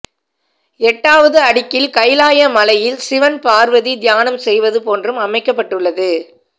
எட்டாவது அடுக்கில் கைலாய மலையில் சிவன் பார்வதி தியானம் செய்வது போன்றும் அமைக்கப்பட்டுள்ளது